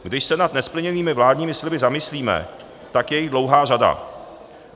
Když se nad nesplněnými vládními sliby zamyslíme, tak je jich dlouhá řada.